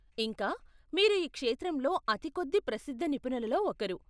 ఇంకా, మీరు ఈ క్షేత్రంలో అతి కొద్ది ప్రసిద్ధ నిపుణులలో ఒకరు.